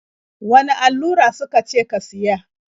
Wane allura su ka ce ka siya?